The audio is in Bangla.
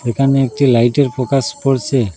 এখানে একটি লাইটের ফোকাস পড়সে।